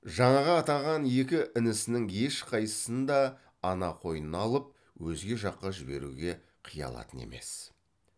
жаңағы атаған екі інісінің ешқайсысын да ана қойнынан алып өзге жаққа жіберуге қия алатын емес